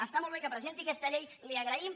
està molt bé que presenti aquesta llei li ho agraïm